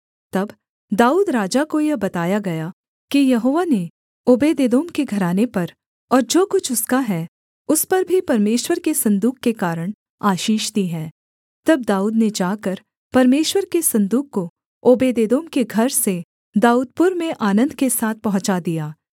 तब दाऊद राजा को यह बताया गया कि यहोवा ने ओबेदेदोम के घराने पर और जो कुछ उसका है उस पर भी परमेश्वर के सन्दूक के कारण आशीष दी है तब दाऊद ने जाकर परमेश्वर के सन्दूक को ओबेदेदोम के घर से दाऊदपुर में आनन्द के साथ पहुँचा दिया